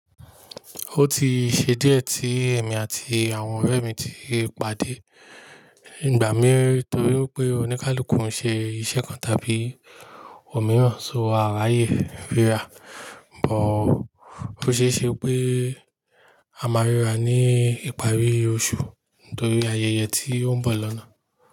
Ó ti ṣe díẹ̀ tí èmi àti àwọn ọ̀rẹ́ mi ti pàdé ìgbà míi torí pé oníkálukú ń ṣe iṣẹ́ kan tàbí òmíràn, so a ráyè ríra. Bọ̀ ó ṣeéṣe pé a máa ríra ní ìparí oṣù torí ayẹyẹ tí ó ń bọ̀ lọ́nà.